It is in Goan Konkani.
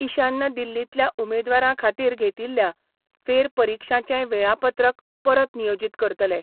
इशान्य दिल्लींतल्या उमेदवारां खातीर घेतिल्ल्या फेरपरीक्षांचेंय वेळापत्रक परत नियोजीत करतले.